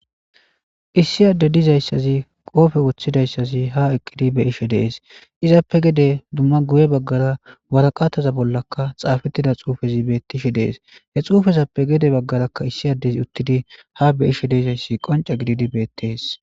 issi adde dizayssazi qoofe woththidayssazi ha eqqidi be ishe dees izappe gede dumma guye baggara waraqataza bollakka xaafettida xuufezi bettishe dees he xuufezappe gede baggarakka issi addezi uttidi ha be ishe deezayssi qonca gididi beettees